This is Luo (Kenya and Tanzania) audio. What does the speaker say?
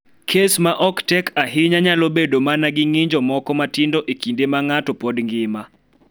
Kes ma ok tek ahinya nyalo bedo mana gi ng�injo moko matindo e kinde ma ng�ato pod ngima.